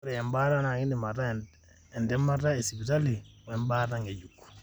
ore embaata na kindim ataa entemata esipitali embaata ngejuk.